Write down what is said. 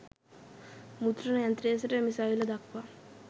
මුද්‍රණ යන්ත්‍රයේ සිට මිසයිලය දක්වා